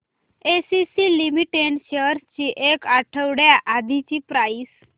ACC limited shares ची एक आठवड्या आधीची प्राइस